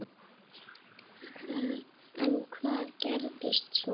En hvað gerist svo?